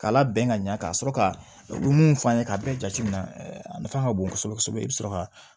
K'a labɛn ka ɲɛ ka sɔrɔ ka mun f'an ye k'a bɛɛ jateminɛ a nafa ka bon kosɛbɛ kosɛbɛ i bɛ sɔrɔ ka